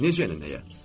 Necə yəni nəyə?